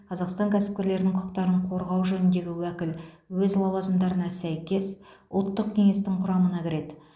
қазақстан кәсіпкерлерінің құқықтарын қорғау жөніндегі уәкіл өз лауазымдарына сәйкес ұлттық кеңестің құрамына кіреді